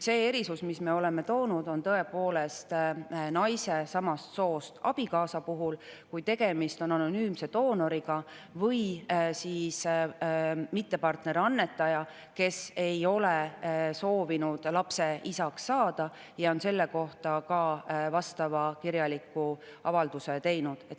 Erisus, mille me oleme siia toonud, naise samast soost abikaasa puhul, kui tegemist on anonüümse doonoriga või mittepartnerist annetajaga, kes ei ole soovinud lapse isaks saada ja on selle kohta ka kirjaliku avalduse teinud.